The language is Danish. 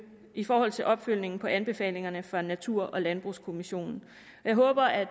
i forhold til opfølgning på anbefalingerne fra natur og landbrugskommissionen jeg håber at